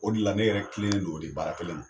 O de la ne yɛrɛ kelennen don o de baara kelen ma